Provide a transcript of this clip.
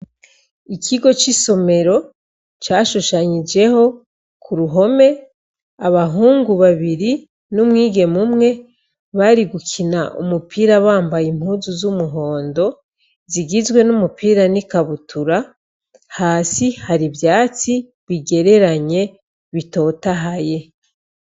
Ikigo cisomero cashudhanyojeyo kumpome abahungu babiri n'umwigeme umwe bari gukina umupira wamaguru bambaye impuzu zumuhondo zigizwe numupira kikabutura hasi hari ivyatsi bigereranye bitotahaye.